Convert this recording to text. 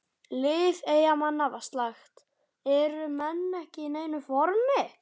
Lið Eyjamanna var slakt, eru menn ekki í neinu formi?